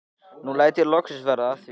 Nú læt ég loksins verða af því.